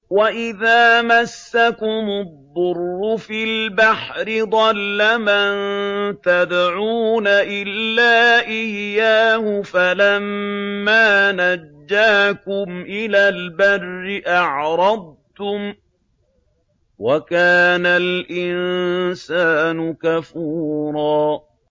وَإِذَا مَسَّكُمُ الضُّرُّ فِي الْبَحْرِ ضَلَّ مَن تَدْعُونَ إِلَّا إِيَّاهُ ۖ فَلَمَّا نَجَّاكُمْ إِلَى الْبَرِّ أَعْرَضْتُمْ ۚ وَكَانَ الْإِنسَانُ كَفُورًا